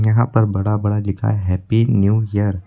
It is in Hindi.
यहां पर बड़ा बड़ा लिखा है हैप्पी न्यू ईयर ।